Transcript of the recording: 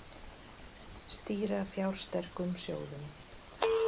Stýra fjársterkum sjóðum